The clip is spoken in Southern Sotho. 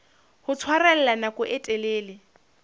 ho tshwarella nako e telele